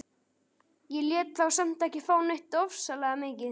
Ég lét þá samt ekki fá neitt ofsalega mikið.